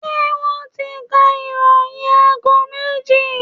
Ṣé wọ́n ti ka ìròyìn aago méjì?